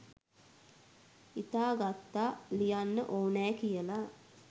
හිතා ගත්තා ලියන්න ඕනෑ කියලා